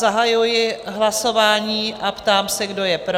Zahajuji hlasování a ptám se, kdo je pro?